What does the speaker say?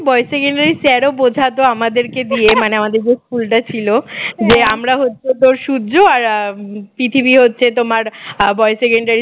boys secondary র sir ও বোঝাত আমাদেরকে দিয়ে মানে আমাদের যে স্কুলটা ছিল যে আমরা হত সূর্য আর আহ পৃথিবী হচ্ছে তোমার boys secondary